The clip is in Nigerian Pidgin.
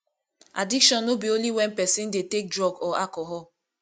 addiction no be only when person dey take drug or alcohol